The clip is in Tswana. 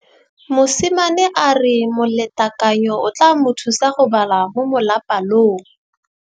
Mosimane a re molatekanyô o tla mo thusa go bala mo molapalong.